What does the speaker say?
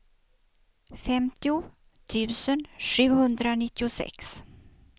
femtio tusen sjuhundranittiosex